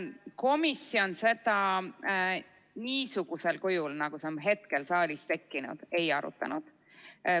Komisjon seda küsimust niisugusel kujul, nagu see on hetkel saalis tekkinud, ei arutanud.